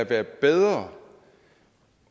være bedre